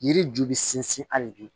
Yiri ju bɛ sinsin hali bi